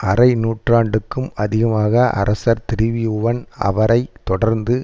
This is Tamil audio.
அரை நூற்றாண்டுக்கும் அதிகமாக அரசர் திரிபுவன் அவரை தொடர்ந்து